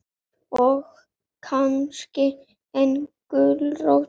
Og kannski eina gulrót.